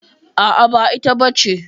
A'a, ba ita bace.